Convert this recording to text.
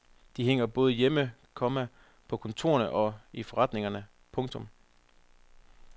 De hænger både hjemme, komma på kontorerne og i forretningerne. punktum